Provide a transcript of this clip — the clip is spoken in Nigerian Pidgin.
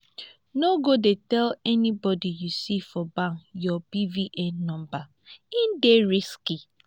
no go dey tell anybody you see for bank your bvn number e dey risky